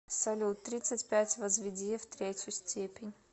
салют тридцать пять возведи в третью степень